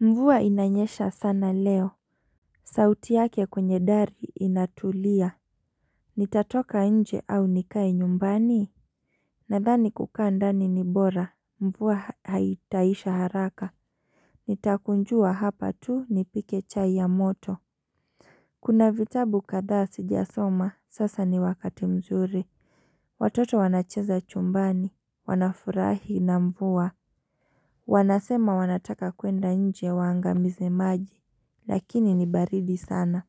Mvua inanyesha sana leo. Sauti yake kwenye dari inatulia. Nitatoka nje? Au nikae nyumbani? Nadhani kukaa ndani ni bora. Mvua haitaisha haraka. Nitakunjua hapa tu nipike chai ya moto. Kuna vitabu kadhaa sijasoma. Sasa ni wakati mzuri. Watoto wanacheza chumbani. Wanafurahi na mvua. Wanasema wanataka kwenda nje waangamize maji. Lakini ni baridi sana.